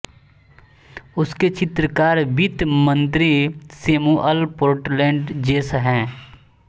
उसके चित्रकार वित्त मंत्री सैमुअल पोर्टलैंड चेस है